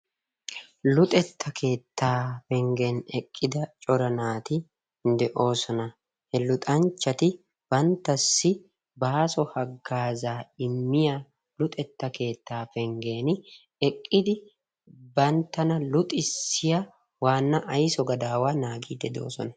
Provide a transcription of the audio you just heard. Luxetta keetta penggen eqqida cora naati de'oosona. He luxanchchati banttassi baaso hagazza immiya luxetta keetta penggen eqqiidi banttana luxissiya waana aysso gadawaa naagide de'oosona.